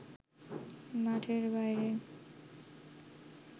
মাঠের বাইরে